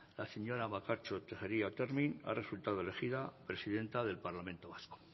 la señora bakartxo tejeria otermin ha resultado elegida presidenta del parlamento vasco